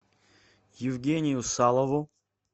евгению салову